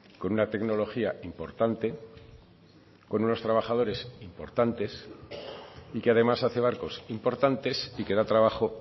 con una tecnología importante con unos trabajadores importantes y que además hace barcos importantes y que da trabajo